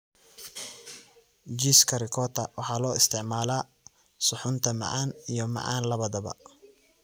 Jiiska Ricotta waxaa loo isticmaalaa suxuunta macaan iyo macaan labadaba.